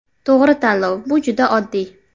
To‘g‘ri tanlov bu juda oddiy!